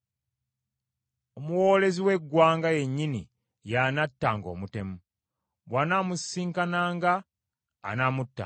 Omuwoolezi w’eggwanga yennyini y’anattanga omutemu; bw’anaamusisinkananga anaamuttanga.